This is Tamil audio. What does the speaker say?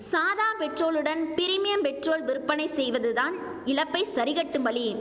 சாதா பெட்ரோலுடன் பிரிமியம் பெட்ரோல் விற்பனை செய்வது தான் இழப்பை சரிகட்டும் வழி